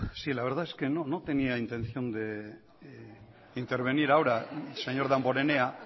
sí la verdad es que no tenía la intención de intervenir ahora señor damborenea